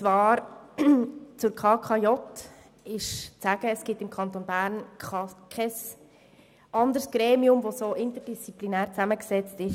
Zur KKJ gilt es zu sagen, dass es im Kanton Bern kein anderes Gremium gibt, das derart interdisziplinär zusammengesetzt ist.